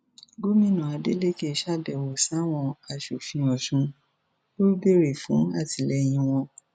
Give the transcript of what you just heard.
gomina adeleke ṣàbẹwò sáwọn aṣòfin ọsùn ò béèrè fún àtìlẹyìn wọn